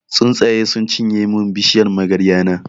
Tsuntsaye sun cinye mun bishiyar magarya na.